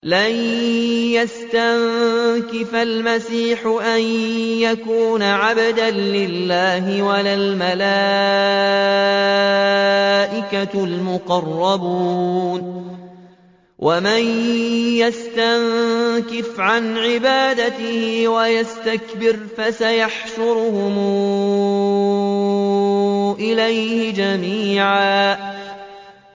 لَّن يَسْتَنكِفَ الْمَسِيحُ أَن يَكُونَ عَبْدًا لِّلَّهِ وَلَا الْمَلَائِكَةُ الْمُقَرَّبُونَ ۚ وَمَن يَسْتَنكِفْ عَنْ عِبَادَتِهِ وَيَسْتَكْبِرْ فَسَيَحْشُرُهُمْ إِلَيْهِ جَمِيعًا